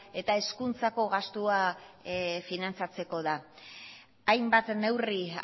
eta hezkuntzako gastua finantzatzeko da hainbat neurri